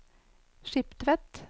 Skiptvet